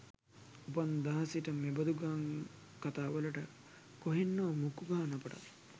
උපන් දා සිට මෙබඳු ගම් කතාවලට කොහෙන් හෝ මුක්කු ගහන අපටත්